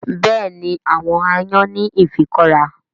Bẹ́ẹ̀ni àwọn aáyán ní ifikọ́ra